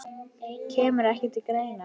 Kemur ekki til greina.